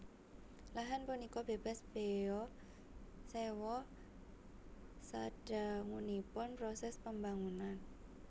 Lahan punika bebas bea sewa sadangunipun proses pembangunan